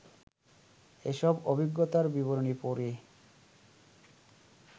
এসব অভিজ্ঞতার বিবরণী পড়ে